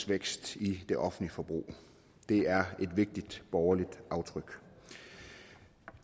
vækst i det offentlige forbrug det er et vigtigt borgerligt aftryk